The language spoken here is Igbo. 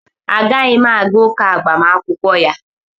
A ga-yim aga agbamakwụkwọ ụka ya.